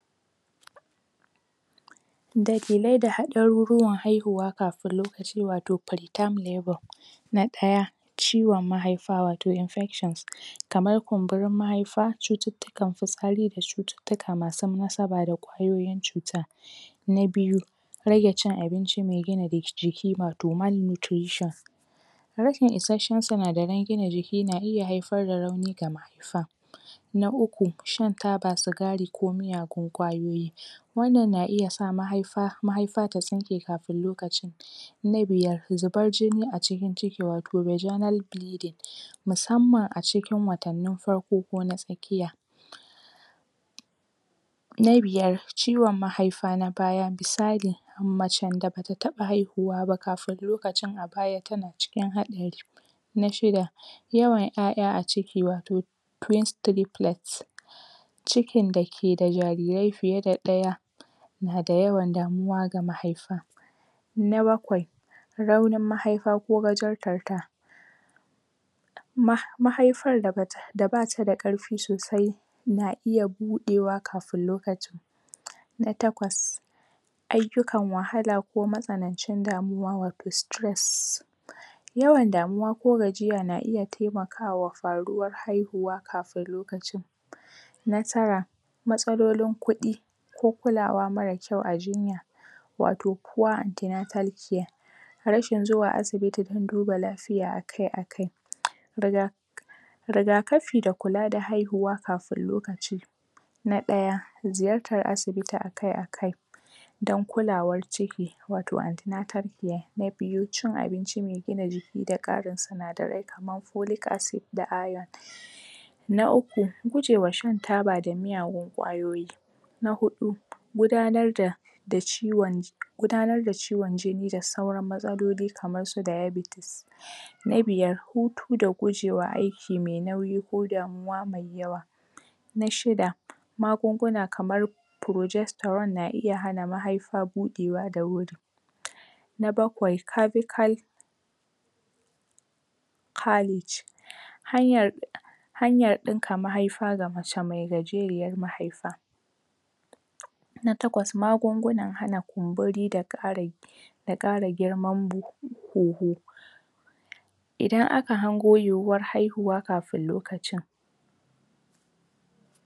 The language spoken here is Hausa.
Dalilai da haliruruwan haihuwan kamin lokaci wato pretime labour, na ɗaya: Ciwon mahaifa wato infections, kaman kumburin mahaifa, cututtukan fitsari da cututtuka masu nasaba da ƙwayoyin cuta. Na biyu: Rage cin abinci mai gina jiki wato malnutrition, rashin issashen sinadaran gina jiki na iya haifar da rauni ga mahaifa Na Uku: Shan taba, sigari ko miyagun ƙwayoyi wannan na iya sa mahaifa ta tsinke kafin lokacin Na biyar: Zubar jini a cikin ciki, wato Virginal bleeding musamman a cikin watannin farko ko na tsakkiya NA biyar: Ciwon Mahaifa na baya, misali macen da ba ta taɓa haihuwa ba kafin lokacin a baya tana cikin haɗari. NA shida: Yawan 'ya'ya a ciki wato, twins, tripplets, cikin da ke da jarirai fiye da ɗaya na da yawan damuwa ga mahaifa. Na bakwai: Raunin mahaifa ko gajarta, mahaifar da bata da ƙarfi sosai na iya buɗewa kafin lokacin. Na takwas: Ayyukan wahala ko matsanancin damuwa wato stress, yawan damuwa ko gajiya na iya taimakawa faruwar haihuwa kafin lokacin Na Tara: Matsalolin kuɗi, ko kulawa mara kyau a jinya, wato poor antenatal care. Rashin zuwa asibiti don duba lafiya akai-akai, riga rigakafi da kula da haihuwa kafin lokaci, Na ɗaya, ziyartar asibiti akai-akai, don kulawar ciki wato antenatal care, na biyu cin abinci mai gina jiki da ƙarin sinadarai kaman polic acid, da irone. Na uku: Gujewa shan taba da miyagfun ƙwayoyi, Na huɗu, gudanar da ciwon, gudanar da ciwon jini da sauran matsaloli kamar su diabetes. Na biyar: Hutu da guje aiki mai nauyi ko damuwa mai yawa Na shida: Magunguna kamar progesterone na iya mahaifa buɗewa da wuri. Na bakwai: Cervical caliage hanyar ɗinka mahaifa ga mace mai gajeruwar mahaifa. Na Takwas: Magungunan hana kumburi da ƙara da ƙara girman kuhu Idan aka hango yiwuwar haihuwa kafin lokacin